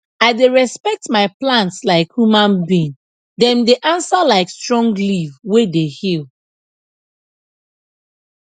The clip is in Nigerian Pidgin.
i dey respect my plants like human being dem dey answer like strong leaf wey dey heal